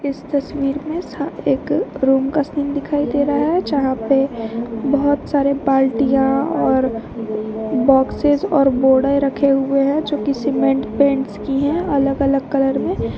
इस तस्वीर में साथ एक रूम का सीन दिखाई दे रहा है यहां पे बहुत सारे बाल्टियां और बॉक्सेस और बोरे रखे हुए हैं जो कि सीमेंट पेंट्स की हैं अलग अलग कलर में--